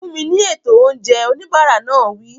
Fún mi ní ètò oúnjẹ! Oníbàárà náà wí.